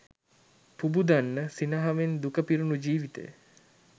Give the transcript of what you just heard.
පුබුදන්න සිනහවෙන් දුක පිරුණු ජීවිතය